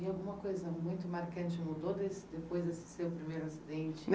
E alguma coisa muito marcante mudou desde depois desse seu primeiro acidente?